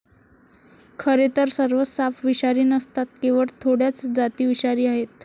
खरेतर सर्वच साप विषारी नसतात केवळ थोड्याच जाती विषारी आहेत.